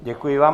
Děkuji vám.